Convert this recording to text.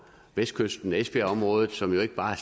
vestkysten ved esbjergområdet som jo ikke bare